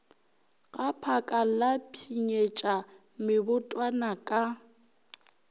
gaphaka la pshinyetša mebotwana ka